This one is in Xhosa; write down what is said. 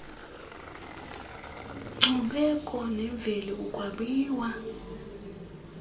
nkcubeko nemveli ukwabiwa